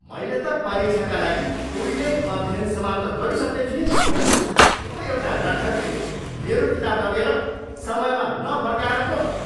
मैले त परीक्षाका लागि उहिल्यै अध्ययन समाप्त गरिसक्ने थिएँ नि। त्यो एउटा लट्ठकले मेरो किताब लगेर समयमा नफर्काएर पो त!